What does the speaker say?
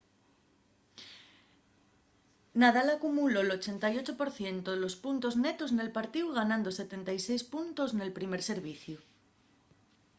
nadal acumuló'l 88% de puntos netos nel partíu ganando 76 puntos nel primer serviciu